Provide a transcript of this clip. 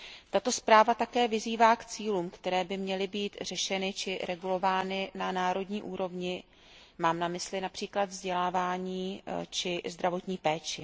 Tato zpráva také vyzývá k cílům, které by měly být řešeny či regulovány na národní úrovni, mám na mysli například vzdělávání či zdravotní péči.